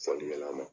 Fɔlikɛla ma